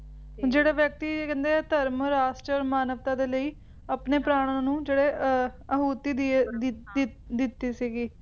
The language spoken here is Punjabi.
ਜਿਹੜਾ ਵਿਅਕਤੀ ਧਰਮ ਰਾਸ਼ਟਰ ਮਾਨਵਤਾ ਦੇ ਲਈ ਆਪਣੇ ਪ੍ਰਾਣਾ ਨੂੰ ਜਿਹੜੇ ਆਹੂਤੀ ਦੀਏ`ਦੀ`ਦਿ`ਦਿੱਤੀ ਸੀਗੀ